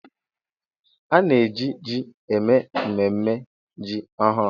A na-eji ji eme mmemme ji ọhụrụ.